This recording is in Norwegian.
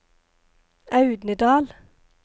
Audnedal